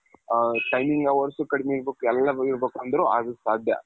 ಅ timing hours ಕಡಿಮೆ ಇರ್ಬೇಕು ಎಲ್ಲಾ ಇರ್ಬೇಕು ಅಂದ್ರೂ ಅದು ಸಾಧ್ಯ